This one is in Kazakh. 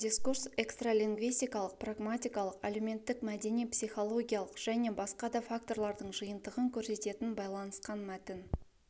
дискурс экстралингвистикалық-прагматикалық әлеуметтік-мәдени психологиялық және басқа да факторлардың жиынтығын көрсететін байланысқан мәтін